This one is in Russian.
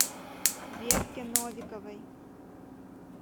верке новиковой